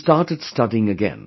She started studying again